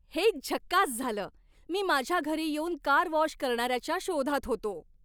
हे झकास झालं! मी माझ्या घरी येऊन कार वॉश करणाऱ्याच्या शोधात होतो.